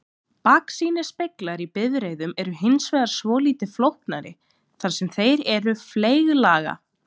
Baksýnisspeglar í bifreiðum eru hins vegar svolítið flóknari þar sem þeir eru fleyglaga.